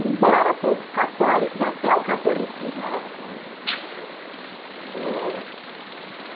Embora todos católicos, até o catolicismo era diferente eh